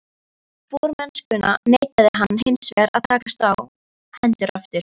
Formennskuna neitaði hann hinsvegar að takast á hendur aftur.